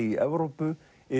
í Evrópu